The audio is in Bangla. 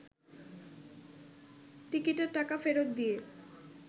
টিকিটের টাকা ফেরত দিয়ে